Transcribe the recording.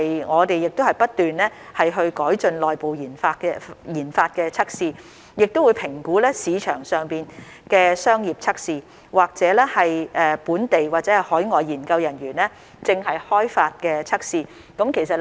我們現已不斷改進內部研發的測試，亦會評估市場上的商業測試，或本地或海外研究人員正在開發的測試。